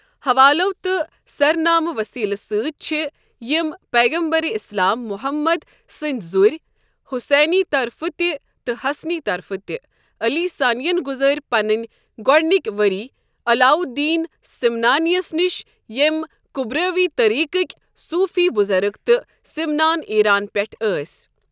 حوالو تہ سرنامہٕ وسیٖلہٕ سٕتی چھ یمہ پیغمبرِ اِسلام محمد سٕنٛدۍ زُرۍ حسینی طرفہٕ تہِ تہٕ حَسَنی طرفہٕ تہِ علی ثانین گزٲری پنٕنی گۄڈٕنکی ؤری علاو الدّیٖن سمنانیس نش یمہ کبرَوی طریٖقٕکی صوٗفی بزرگ تہٕ سمنان، ایٖران پؠٹھ ٲسی۔